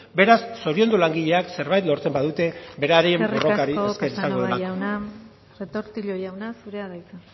beraz zoriondu langileak zerbait lortzen badute beraien borrokari esker izango delako eskerrik asko casanova jauna retortillo jauna zurea da hitza